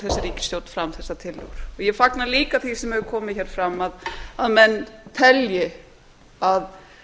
þessi ríkisstjórn fram þessar tillögur ég fagna líka því sem hefur komið fram að menn telji að